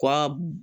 Wa